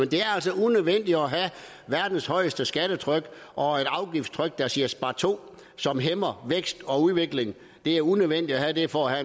det er altså unødvendigt at have verdens højeste skattetryk og et afgiftstryk der siger sparto og som hæmmer vækst og udvikling det er unødvendigt at have det for at